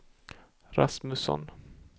Rasmusson